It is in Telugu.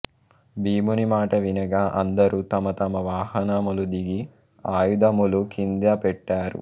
భీముని మాట వినక అందరూ తమతమ వాహనములు దిగి ఆయుధములు కింద పెట్టారు